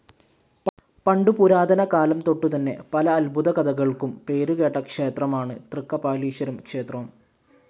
പണ്ടു പുരാതന കാലംതൊട്ടുതന്നെ പല അത്ഭുത കഥകൾക്കും പേരുകേട്ട ക്ഷേത്രമാണ് തൃക്കപാലീശ്വരം ക്ഷേത്രം.